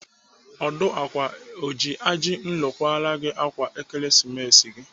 Ọdụ ákwà o ji ajinro kwara gị ákwà Ekeresimesi gị?